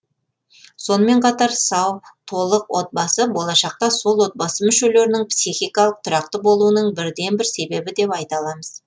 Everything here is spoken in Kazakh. сонымен қатар сау толық отбасы болашақта сол отбасы мүшелерінің психикалық тұрақты болуының бірден бір себебі деп айта аламыз